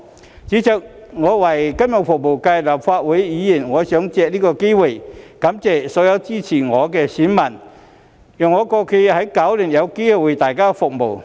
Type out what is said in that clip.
代理主席，身為金融服務界的立法會議員，我想借此機會感謝所有支持我的選民，讓我在過去9年有機會為大家服務。